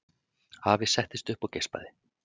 Afi settist upp og geispaði.